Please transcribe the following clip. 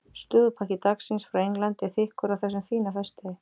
Slúðurpakki dagsins frá Englandi er þykkur á þessum fína föstudegi.